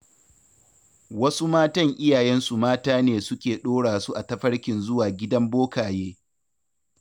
Wasu matan iyayensu mata ne suke ɗora su a tafarkin zuwa gidan bokaye.